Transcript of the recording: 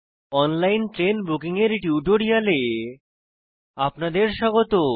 online train booking এর টিউটোরিয়ালে আপনাদের স্বাগত